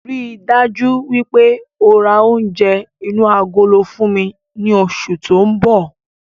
Ríi dájú wípé ó rá oúnjẹ inú agolo fún mi ní oṣù tóun bọ̀